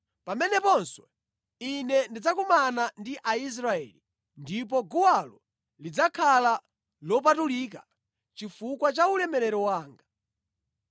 Pameneponso Ine ndidzakumana ndi Aisraeli, ndipo guwalo lidzakhala lopatulika chifukwa cha ulemerero wanga.